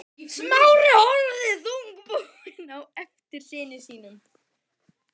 Smári horfði þungbúinn á eftir syni sínum.